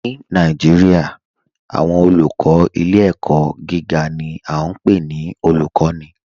Ni Naijiria, awọn olùkọ ilẹ̀-ẹ̀kọ̀ giga ni a npe ni olùkọni